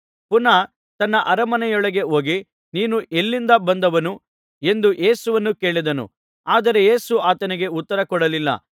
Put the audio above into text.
ಪುನಃ ತನ್ನ ಅರಮನೆಯೊಳಗೆ ಹೋಗಿ ನೀನು ಎಲ್ಲಿಂದ ಬಂದವನು ಎಂದು ಯೇಸುವನ್ನು ಕೇಳಿದನು ಆದರೆ ಯೇಸು ಆತನಿಗೆ ಉತ್ತರಕೊಡಲಿಲ್ಲ